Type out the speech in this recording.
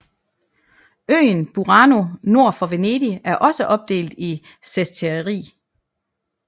Øen Burano nord for Venedig er også opdelt i sestieri